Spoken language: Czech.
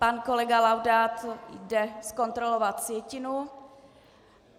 Pan kolega Laudát jde zkontrolovat sjetinu.